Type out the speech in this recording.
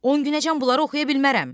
On günəcən bunları oxuya bilmərəm.